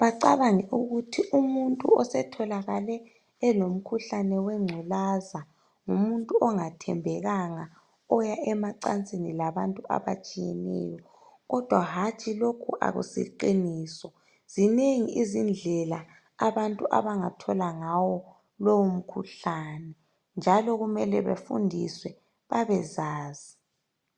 bacabange ukuthi umuntu osetholakale elomkhuhlane wengculaza ngumuntu ongathembekanga oya emacansini labantu abatshiyeneyo. Kodwa hantshi lokhu akusi qiniso zinengi izindlela abantu abangathola ngawo lowo mkhuhlane njalo kumele bafundiswe babezazi.